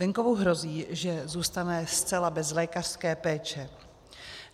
Venkovu hrozí, že zůstane zcela bez lékařské péče.